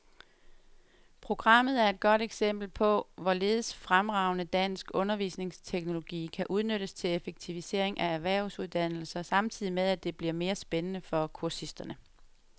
Programmet er et godt eksempel på, hvorledes fremragende dansk undervisningsteknologi kan udnyttes til effektivisering af erhvervsuddannelser samtidig med, at det bliver mere spændende for kursisterne.